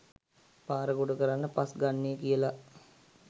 පාර ගොඩකරන්න පස්‌ ගන්නේ කියලා